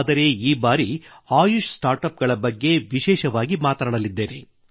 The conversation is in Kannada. ಆದರೆ ಈ ಬಾರಿ ಆಯುಷ್ ಸ್ಟಾರ್ಟ್ ಅಪ್ ಬಗ್ಗೆ ವಿಶೇಷವಾಗಿ ಮಾತನಾಡಲಿದ್ದೇನೆ